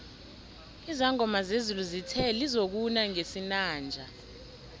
izangoma zezulu zithe lizokuna ngesinanje